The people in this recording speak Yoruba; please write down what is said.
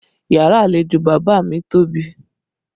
Yàrá àlejò bàbá mi tóbi